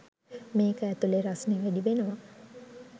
මේක ඇතුළෙ රස්නෙ වැඩි වෙනවා.